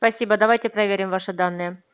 спасибо давайте проверим ваши данные